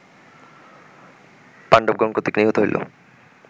পাণ্ডবগণ কর্তৃক নিহত হইল